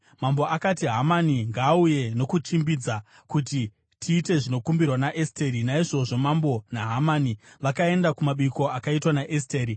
Mambo akati, “Hamani ngaauye nokuchimbidza, kuti tiite zvinokumbirwa naEsteri.” Naizvozvo mambo naHamani vakaenda kumabiko akaitwa naEsteri.